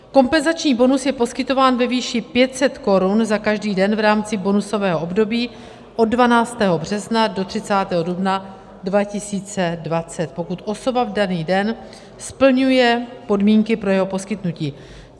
Kompenzační bonus je poskytován ve výši 500 korun za každý den v rámci bonusového období od 12. března do 30. dubna 2020, pokud osoba v daný den splňuje podmínky pro jeho poskytnutí.